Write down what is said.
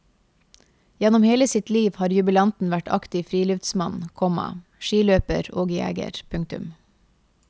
Gjennom hele sitt liv har jubilanten vært aktiv friluftsmann, komma skiløper og jeger. punktum